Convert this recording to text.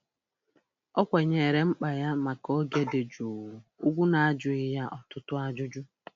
Ọ kwanyeere mkpa ya maka oge dị jụụ ugwu n'ajụghị ya ọtụtụ ajụjụ.